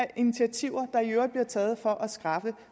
af initiativer der i øvrigt bliver taget for at skaffe